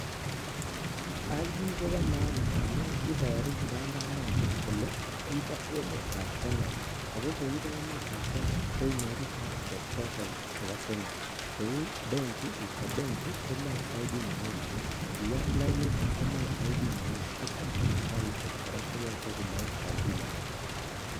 Identification card kopo maana ndamun iboru kipandanoto kole ipo emetab Kenya ako koipo emetab Kenya koinyoru services choton chepo kenya kou ichop Benki komoe identification card, iyat lainit komoe identification card ak Mpesa services kora koyoche komoe identification card nenguny.